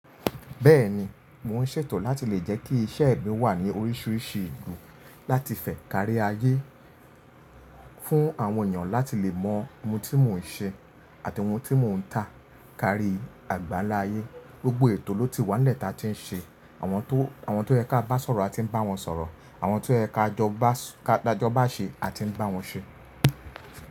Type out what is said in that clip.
Bẹ́ẹ̀ni, mò n ṣètò láti lè jẹ́ kí iṣẹ́ mi wà ní oríṣiríṣi ìlú láti fẹ kárí ayé fún àwọn ènìyàn láti lè mọ ohun tí mò n ṣe àti ohun tí mò ń tà kárí àgbáláyé. Gbogbo ètò ló ti wà nílẹ̀ taa tí ń ṣe àwọn tó, àwọn tó yẹ ká bá sọ̀rọ̀ a ti ń bá wọn sọ̀rọ̀, àwọn tó yẹ ká jọba ṣe a ti ń bá wọn ṣe.